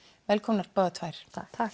velkomnar báðar tvær